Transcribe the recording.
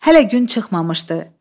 Hələ gün çıxmamışdı.